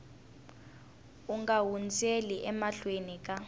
u nga hundzeli emahlweni ka